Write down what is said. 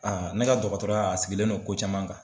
ne ka dɔgɔtɔrɔya a sigilen no ko caman kan.